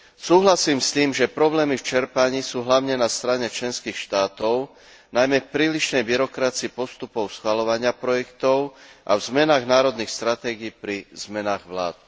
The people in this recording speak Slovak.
Súhlasím s tým, že problémy v čerpaní sú hlavne na strane členských štátov, najmä v prílišnej byrokracii postupov schvaľovania projektov a v zmenách národných stratégií pri zmenách vlád.